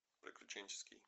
приключенческий